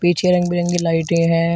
पिछे रंग बिरंगे लाइटे हैं।